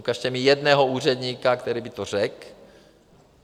Ukažte mi jednoho úředníka, který by to řekl.